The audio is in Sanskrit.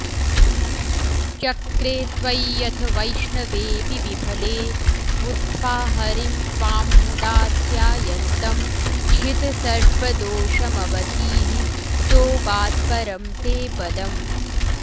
चक्रे त्वय्यथ वैष्णवेऽपि विफले बुद्ध्वा हरिं त्वां मुदा ध्यायन्तं छितसर्वदोषमवधीः सोऽगात्परं ते पदम्